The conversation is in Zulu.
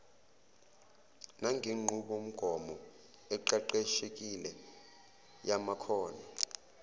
nangenqubomgomo eqeqeshekile yamakhono